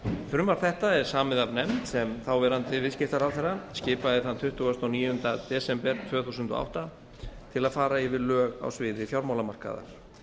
frumvarp þetta er samið af nefnd sem þáv viðskiptaráðherra skipaði tuttugasta og níunda desember tvö þúsund og átta til að fara yfir lög á sviði fjármálamarkaðar